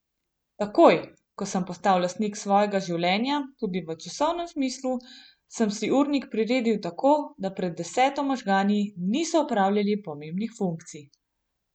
Takoj, ko sem postal lastnik svojega življenja tudi v časovnem smislu, sem si urnik priredil tako, da pred deseto možgani niso opravljali pomembnih funkcij.